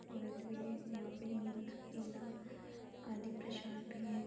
औरत भी है और यहाँ पे ईख केला आदि प्रसाद भी है।